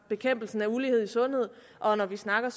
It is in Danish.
bekæmpelse af ulighed i sundhed og når vi snakker